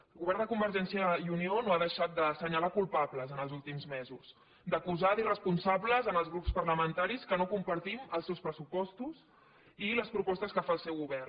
el govern de convergència i unió no ha deixat d’assenyalar culpables els últims mesos d’acusar d’irresponsables els grups parlamentaris que no compartim els seus pressupostos i les propostes que fa el seu govern